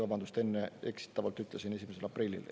Vabandust, enne eksitavalt ütlesin 1. aprillil.